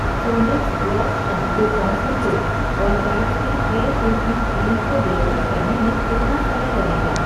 सोनेक्स gloss shampoo concentrate और Gatsby hair treatment cream को deliver करने में कितना समय लगेगा?